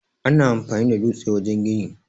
Ana amfani da dutse wajen gini.